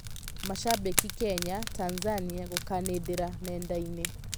Mashabĩki Kenya, Tanzania gũkanĩdĩra nendainĩ.